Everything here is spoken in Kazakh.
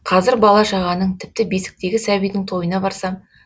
қазір бала шағаның тіпті бесіктегі сәбидің тойына барсам